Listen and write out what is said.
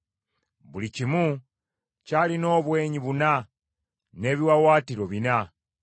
Buli kimu kyalina obwenyi buna, n’ebiwaawaatiro bina.